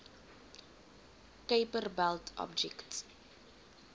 kuiper belt objects